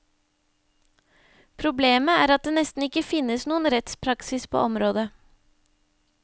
Problemet er at det nesten ikke finnes noen rettspraksis på området.